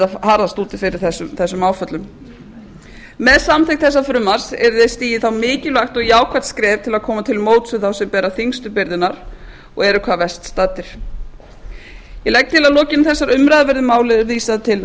harðast úti fyrir þessum áföllum með samþykkt þessa frumvarps yrði stigið þá mikilvægt og jákvætt skref til að koma til móts við þá sem bera þyngstu byrðarnar og eru hvað verst staddir ég legg til að lokinni þessari umræðu verði málinu vísað til